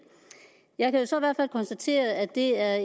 jeg kan så i hvert fald konstatere at det er